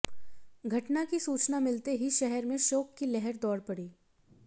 घटना की सूचना मिलते ही शहर में शोक की लहर दौड़ पड़ी